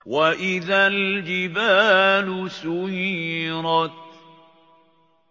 وَإِذَا الْجِبَالُ سُيِّرَتْ